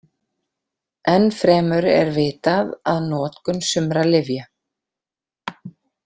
Enn fremur er vitað að notkun sumra lyfja.